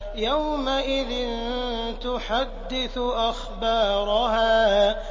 يَوْمَئِذٍ تُحَدِّثُ أَخْبَارَهَا